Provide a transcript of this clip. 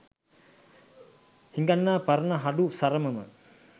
හිඟන්නා පරණ හඩු සරම ම